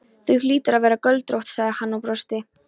Þú hlýtur að vera göldrótt, sagði hann og brosti.